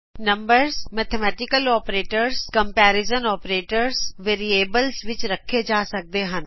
numbers mathematical operators comparison operators variables ਵਿੱਚ ਰਖੇਂ ਜਾ ਸਕਦੇ ਹਨ